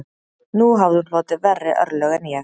Nú hafði hún hlotið verri örlög en ég